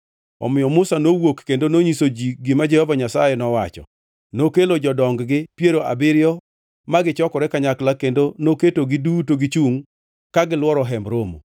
Omiyo Musa nowuok kendo nonyiso ji gima Jehova Nyasaye nowacho. Nokelo jodong-gi piero abiriyo ma gichokore kanyakla kendo noketogi duto gichungʼ ka gilworo Hemb Romo.